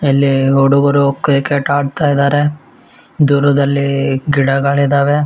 ಅಲ್ಲಿ ಹುಡುಗರು ಕ್ರಿಕೆಟ್ ಆಡ್ತಾ ಇದ್ದಾರೆ ದೂರದಲ್ಲಿ ಗಿಡಗಳಿದ್ದಾವೆ.